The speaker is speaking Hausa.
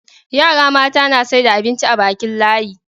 yara mata na saida abinci a Bakin layi